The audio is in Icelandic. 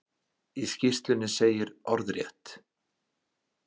Í skýrslunni segir orðrétt:?